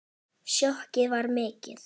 Sjokkið var mikið.